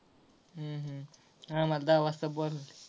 हम्म हम्म आम्हाला दहा वाजता बोलवलय.